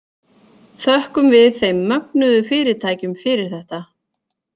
Þökkum við þeim mögnuðu fyrirtækjum fyrir þetta.